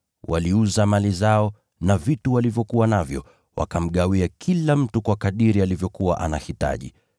Waliuza mali zao na vitu walivyokuwa navyo, kila mtu akagawiwa kadiri ya mahitaji yake.